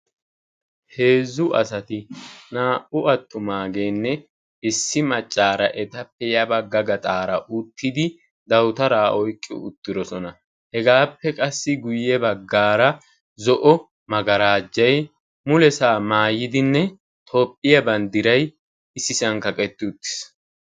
Heezu asati naa'u attumaageenne issi macaara etappe yabaga gaxaara uttidi dawutaraa oyqqi uttidosona. hegaappe qassi guye bagaara zo'o magaarajjay mulesaa maayidinne toophiya bandiray mulesaa maayi utiis.